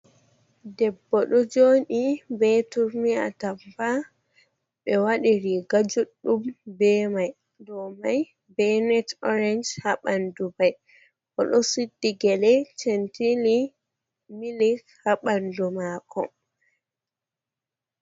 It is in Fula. Debbo ɗo jooɗi be turmi atampa, ɓe waɗi riiga juɗɗum be may, dow may be net oorec haa ɓanndu may, o ɗo suddi gele centili milik, haa ɓanndu maako.